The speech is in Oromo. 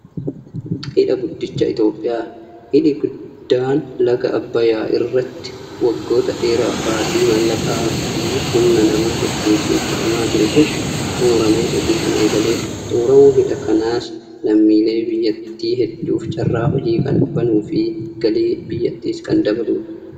Hidha guddicha Itoophiyaa. Hidhi guddaan laga Abbayyaa irratti waggoota dheeraaf baasii maallaqaa fi humna namaa hedduutiin hidhamaa ture kun xumuramee hojii kan eegaledha. Xumuramuun hidha kanaas lammiilee biyyattii hedduuf carraa hojii kan banuu fi galii biyyattiis kan dabaludha.